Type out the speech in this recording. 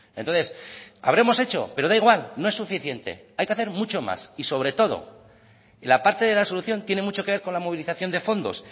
entonces habremos hecho pero da igual no es suficiente hay que hacer mucho más y sobre todo la parte de la solución tiene mucho que ver con la movilización de fondos